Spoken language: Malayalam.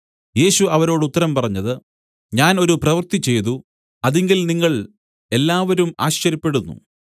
യേശു അവരോട് ഉത്തരം പറഞ്ഞത് ഞാൻ ഒരു പ്രവൃത്തി ചെയ്തു അതിങ്കൽ നിങ്ങൾ എല്ലാവരും ആശ്ചര്യപ്പെടുന്നു